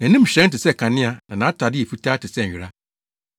Nʼanim hyerɛn te sɛ kanea na nʼatade yɛ fitaa te sɛ nwera.